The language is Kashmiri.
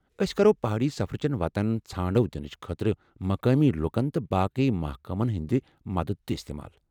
أسۍ کرو پہٲڑی سفرٕ چیٚن وتن ژھانڈو دِنٕچ خٲطرٕ مقٲمی لُکن تہٕ باقٕی محکمن ہنٛدِ مدتھ تہِ استعمال ۔